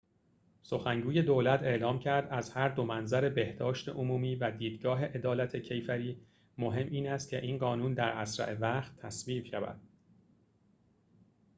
سخنگوی دولت اعلام کرد از هر دو منظر بهداشت عمومی و دیدگاه عدالت کیفری مهم این است که این قانون در اسرع وقت تصویب شود